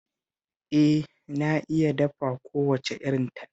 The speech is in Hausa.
Eh, na iya dafa kowace irin Taliya